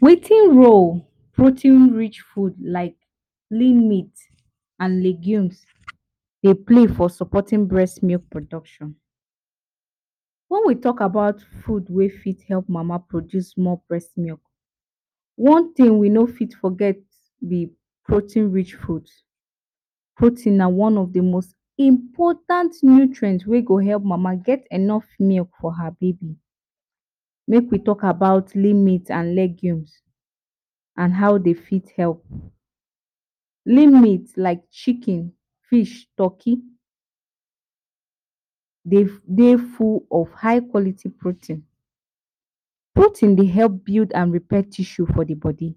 Wetin role protein rich food like lim meat and legumes Dey play for supporting breast milk production, wen we talk about food wey fit help mama produce more breast milk one tin wey we no fit forget b protein rich foods, proteins na one of d important nutrients wey go help mama get milk for her baby, make we talk about lim meat and legumes and how dem fit help. Lim meat like chicken, fish, turkey dey full of high quality protein, protein Dey help build and repair tissue for d body,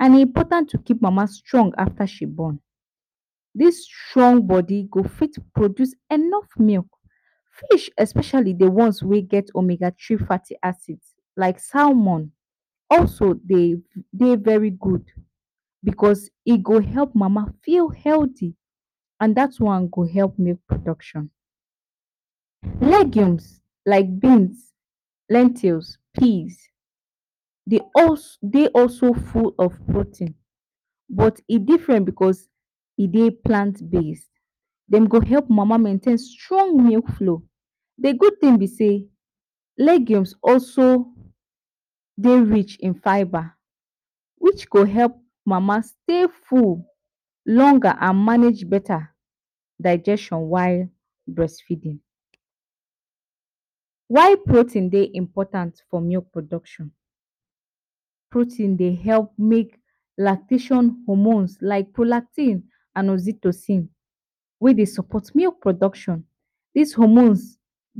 and e important to keep mama strong afta she born, dis strong body go fit produce enough milk especially d ones wey get omega three fatty acids like salmon also Dey very good, because e go help mama feel healthy and dat one go help milk production. Legumes like beans, lentils, peas Dey also full of protein, but e different because e Dey plant base dem go help mama maintain strong milk flow d good tin b say legumes also Dey rich in fiber which go help mama stay full longer and manage beta digestion while feeding. Why protein Dey important for milk production, protein Dey help make lactation hormones like prolactin and oxytocin wey Dey support milk production, dis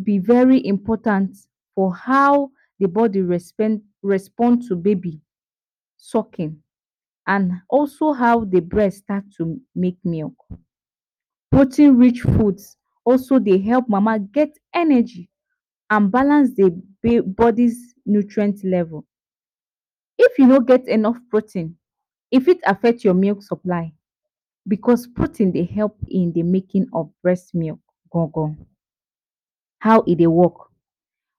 b very important for how body respond to baby sucking and also how d breast start to make milk, protein rich foods also Dey help mama get energy and balance d body nutrient level. If u no get enough protein e fit affect your milk supply because protein Dey help in d making of breast milk gongon. How e Dey work,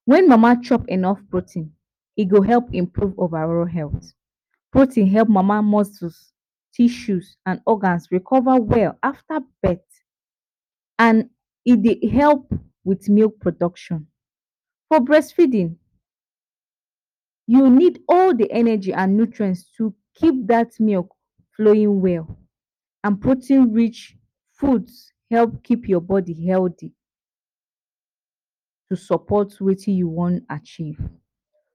wen mama chop enuff protein e go help improve overall health, protein help mama muscles, tissues and organs recover well after birth and e Dey help with milk production. For breastfeeding u need all d energy and nutrients to keep dat milk flowing well and protein rich foods help keep your body healthy to support Wetin u wan achieve,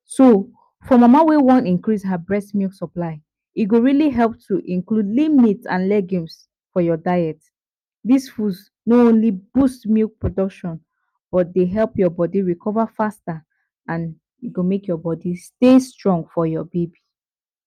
so for mama wey wan increase her breast milk supply e go really help to include lim meat and legumes for your diet dis foods no only boost milk production but Dey help ur body recover faster and e go make your body stay strong for your baby.